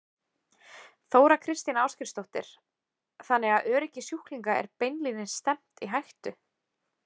Þóra Kristín Ásgeirsdóttir: Þannig að öryggi sjúklinga er beinlínis stefnt í hættu?